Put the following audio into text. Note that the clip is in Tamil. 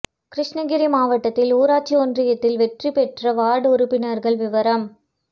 கிருஷ்ணகிரி மாவட்டத்தில் ஊராட்சி ஒன்றியத்தில் வெற்றி பெற்ற வாா்டு உறுப்பினா்கள் விவரம்